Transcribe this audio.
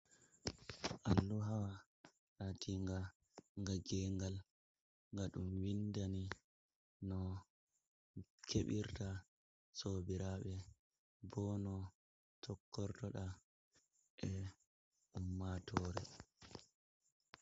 Alluha latinga nga geengal, nga ɗum winndani no keɓirta sobiraaɓe, bo no tokkortoɗa e ummatoore.